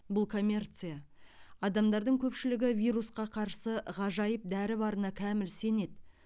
бұл коммерция адамдардың көпшілігі вирусқа қарсы ғажайып дәрі барына кәміл сенеді